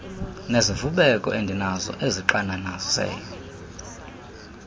nezivubeko endinazo ezixananaze